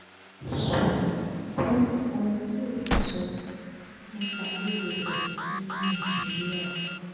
sùn gun ohun tí òfin sọ nípa lílò rẹ̀ ní nàìjíríà